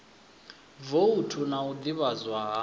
voutu na u ḓivhadzwa ha